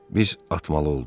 Biz atmalı olduq.